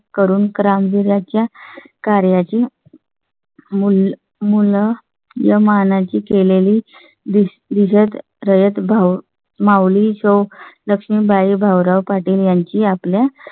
करून काम दिल्या च्या कार्याची . मुल मुलं या मानाची केलेली दिसत रजत भाव मावळ ली जो लक्ष्मीबाई भाऊराव पाटील यांची आपल्या